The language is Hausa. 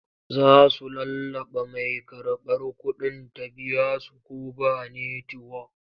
Za su lallaɓa mai karɓar kuɗin ta biya su ko ba netiwok.